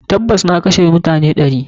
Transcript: Tabas, na kashe mutane ɗari.